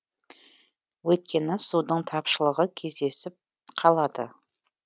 өйткені судың тапшылығы кездесіп қалады